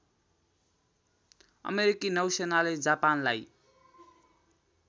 अमेरिकी नौसेनाले जापानलाई